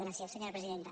gràcies senyora presidenta